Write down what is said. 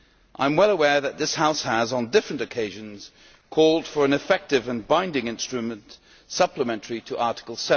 I am well aware that this House has on different occasions called for an effective and binding instrument supplementary to Article